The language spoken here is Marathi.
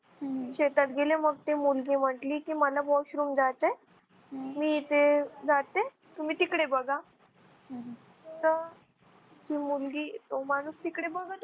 शेतात गेले मग ते मुलगी म्हटली की मला washroom जायचंय मी इथे जाते तुम्ही तिकडे बघा तर ती मुलगी तो माणूस तिकडे बघत होता